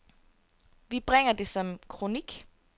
Vi bringer det som kronik.